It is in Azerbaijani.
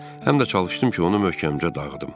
Həm də çalışdım ki, onu möhkəmcə dağıdım.